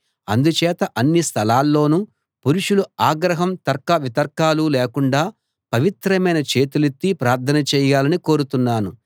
అందుచేత అన్ని స్థలాల్లోనూ పురుషులు ఆగ్రహం తర్కవితర్కాలు లేకుండా పవిత్రమైన చేతులెత్తి ప్రార్థన చేయాలని కోరుతున్నాను